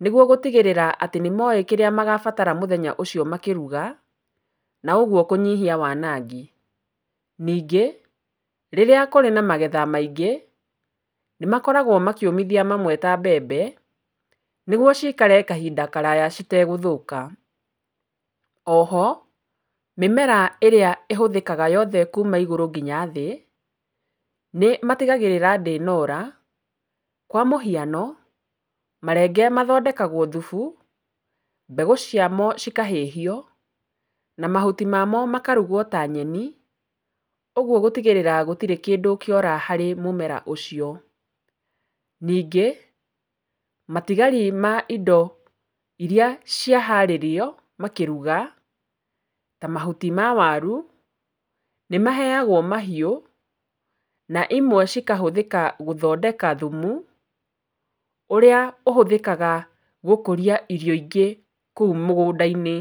nĩguo gũtigĩrĩra atĩ nĩmoĩ kĩrĩa magabatara mũthenya ũcio makĩruga na ũguo kũnyihia wanangi. Ningĩ rĩrĩa kũrĩ na magetha maingĩ nĩmakoragwo makĩũmithia mamwe ta mbembe, nĩguo cikare kahinda karaya citegũthũka. O ho mĩmera ĩrĩa ĩhũthĩkaga yothe kuma igũrũnginya thĩ nĩmatigagĩrĩra atĩ ndĩnora. Kwa mũhiano marenge mathondekagwo thubu, mbegũ cia cio cikahĩhio na mahuti mamo makarugwo ta nyeni, ũguo gũtigĩĩra gũtirĩ kĩndũ kĩora harĩ mũmera ũcio. Ningĩ matigari ma indo iria ciaharĩrio makĩruga ta mahuti ma waru nĩmaheyagwo mahiũ na imwe cikahũthĩka gũthondeka thumu ũrĩa ũhũthĩkaga gũkũria indo ingĩ kũu mũgũnda-inĩ.